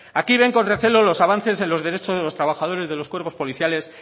aquí ven con recelo los avances en los derechos de los trabajadores de los cuerpos policiales